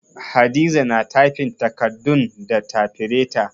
Hadiza na tyfin takardun da tafireta